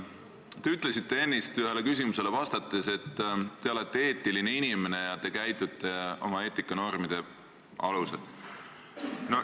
Te ütlesite ennist ühele küsimusele vastates, et te olete eetiline inimene ja te käitute oma eetikanormide alusel.